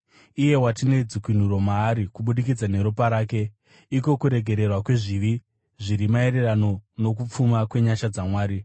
Iye watine dzikunuro maari kubudikidza neropa rake, iko kuregererwa kwezvivi, zviri maererano nokupfuma kwenyasha dzaMwari